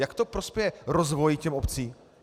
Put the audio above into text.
Jak to prospěje rozvoji těch obcí?